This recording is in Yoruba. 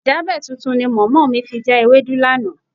Ìjábẹ̀ tuntun ni mọ̀mọ́ mi fi já ewédú lánàá.